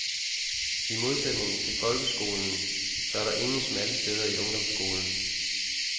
I modsætningen til folkeskolen, så er der ingen smalle steder i ungdomsskolen.